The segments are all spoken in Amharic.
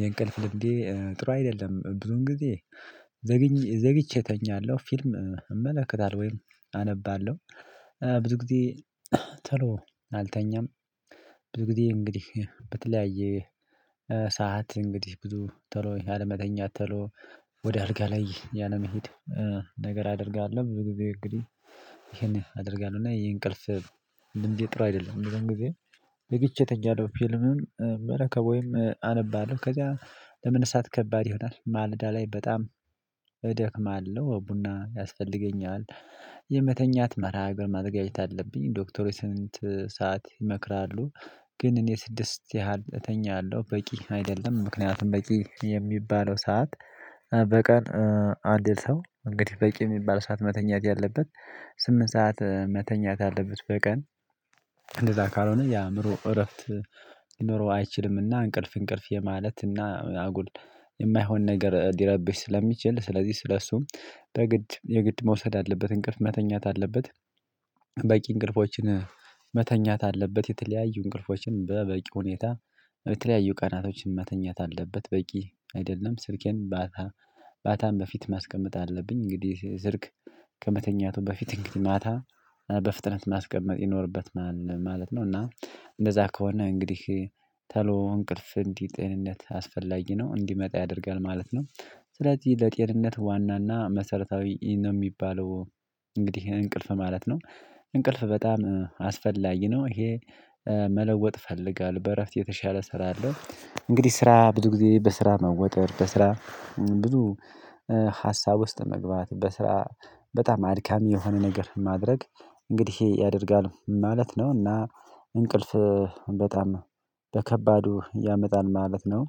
የእንቅልፍ ልምዴ ጥሩ አይደለም ብዙን ጊዜ ዘግይቼ እተኛለሁ ፊልም እመለከታለሁ ወይም አነባለሁ ብዙ ጊዜ ተሎ አልተኛም። ብዙ ጊዜ እንግዲህ በተለያየ ሰዓት እንግዲህ ብዙ ተሎ አለመተኛት ተሎ ወደ አልጋ ላይ ያለመሄድ ነገር አደርጋለሁ። ብዙ ጊዜ እንግዲህ ይሄን አደርጋለሁ እና የእንቅልፍ ልምዴ ጥራ አይደለም። ብዙን ጊዜ ዘግቼ እተኛለሁ ፊልምም በረከቡም አነባለሁ ከዛ ለመነሳት ከባድ ይሆናል ማለዳ ላይ በጣም እደክማለሁ ቡና ያስፈልገኛል። የመተኛት መርሃ ሀገር ማዘጋጀት አለብኝ ዶክተሩ ስንት ሰዓት ይመክራሉ? ግን እኔ ስድስት ያህል እተኛለሁ በቂ አይደለም። ምክንያቱም በቂ የሚባለው ሰዓት በቀን አንድ ሰው እንግዲህ በቂ የሚባል ሰዓት መተኛት ያለበት ስምንት ሰዓት መተኛት አለበት። በቀን እንደዛ ካልሆነ የአእምሮ እረፍት ሊኖረው አይችልምና እንቅልፍ እንቅልፍ የማለት እና አጉል የማይሆን ነገር ሊረብሽ ስለሚችል ስለዚህ ስለሱም በግድ የግድ መውሰድ አለበት እንቅልፍ መተኛት አለበት። በቂ እንቅልፎችን መተኛት አለበት የተለያዩ እንቅልፎችን በበቂ ሁኔታ የተለያዩ ቀናቶችን መተኛት አለበት። በቂ አይደለም ስልኬን ባታ ባታን በፊት ማስቀመጥ አለብኝ እንግዲህ ዝርክ ከመተኛቱ በፊት እንግዲህ ማታ በፍጥነት ማስቀመጥ ይኖርበት ማለት ነው። እና እንደዛ ከሆነ እንግዲህ ተሎ እንቅልፍ እንዲህ ጤንነት አስፈላጊ ነው እንዲመጣ ያደርጋል ማለት ነው። ስለዚህ ለጤንነት ዋና እና መሰረታዊ ነው የሚባለው እንግዲህ እንቅልፍ ማለት ነው። እንቅልፍ በጣም አስፈላጊ ነው። ይሄ መለወጥ እፈልጋለሁ በእረፍት የተሻለ እሰራለሁ እንግዲህ ስራ ብዙ ጊዜ በስራ መወጠር በስራ ብዙ ሀሳብ ውስጥ መግባት በስራ በጣም አድካሚ የሆነ ነገር ማድረግ እንግዲህ ይሄ ያደርጋል ማለት ነው። እና እንቅልፍ በጣም በከባዱ ያመጣል ማለት ነው።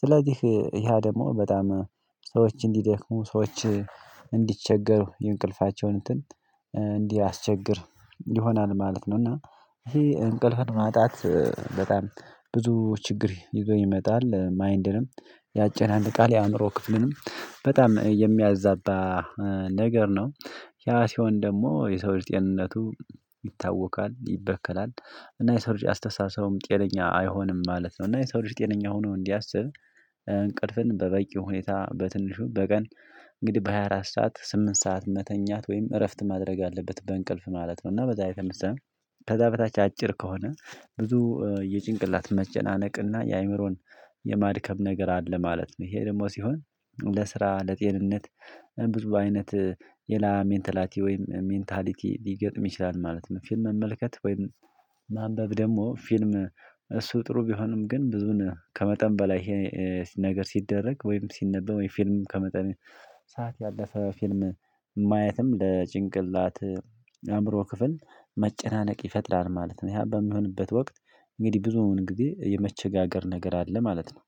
ስለዚህ ያ ደግሞ በጣም ሰዎች እንዲደክሙ ሰዎች እንዲቸገሩ የእንቅልፋቸውን እንትን እንዲያስቸግር ይሆናል ማለት ነው። እና ይሄ እንቅልፍን ማጣት በጣም ብዙ ችግር ይዞ ይመጣል ማይንድንም ያጨናንቃል የአእምሮ ክፍልንም በጣም የሚያዛባ ነገር ነው። ያ ሲሆን ደግሞ የሰው ልጅ ጤንነቱ ይታወካል ይበከላል እና የሰው ልጅ አስተሳሰቡም ጤነኛ አይሆንም ማለት ነው። እና የሰው ልጅ ጤነኛ ሆኖ እንዲያስብ እንቅልፍን በበቂ ሁኔታ በትንሹ በቀን እንግዲህ በሃያ አራት ሰዓት ስምንት ሰዓት መተኛት ወይም እረፍት ማድረግ አለበት። በእንቅልፍ ማለት ነው እና በዛ የተነሳ መሰለኝ ከዛ በታች አጭር ከሆነ ብዙ የጭንቅላት መጨናነቅ እና የአእምሮን የማድከም ነገር አለ ማለት ነው። ይሄ ደግሞ ሲሆን ለስራ ለጤንነት ብዙ አይነት የላ ሜንታላቲ ወይም ሜንታሊቲ ሊገጥም ይችላል ማለት ነው። ፊልም መመልከት ወይም ማንበብ ደግሞ ፊልም እሱ ጥሩ ቢሆንም ግን ብዙን ከመጠን በላይ ይሄ ነገር ሲደረግ ወይም ሲነበብ የፊልም ከመጠን ሰዓት ያለፈ ፊልም ማየትም ለጭንቅላት የአእምሮ ክፍል መጨናነቅ ይፈጥራል ማለት ነው። ያ በሚሆንበት ወቅት እንግዲህ ብዙውን እንግዲህ የመቸጋገር ነገር አለ ማለት ነው